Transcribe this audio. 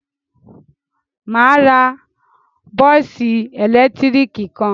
Mà á ra bọ́ọ́sì ẹ̀lẹ́tíríkì kan.